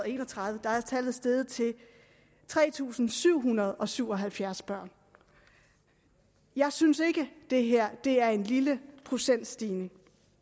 en og tredive var tallet steget til tre tusind syv hundrede og syv og halvfjerds børn jeg synes ikke at det her er en lille procentstigning